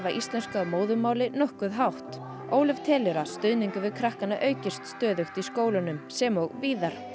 íslensku að móðurmáli nokkuð hátt Ólöf telur að stuðningur við krakkana aukist stöðugt í skólunum sem og víðar